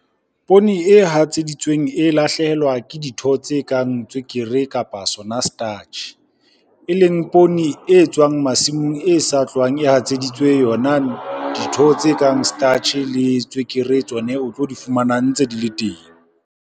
Poone e hatseditsweng e lahlehelwa ke ditho tse kang tswekere, kapa sona starch. E leng poone e tswang masimong e sa tlohang e hatseditsweng yona ditho tse kang starch-e le tswekere tsone o tlo di fumana ntse di le teng.